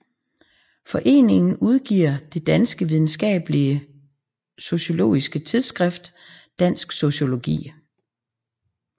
Foreningen udgiver det danske videnskabelige sociologiske tidsskrift Dansk Sociologi